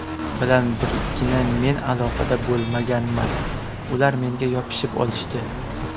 bilan birgina men aloqada bo‘lmaganman, ular menga yopishib olishdi.